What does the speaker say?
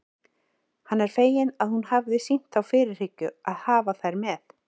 Hann var feginn að hún hafði sýnt þá fyrirhyggju að hafa þær með.